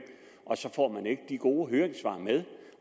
så får man ikke de gode høringssvar med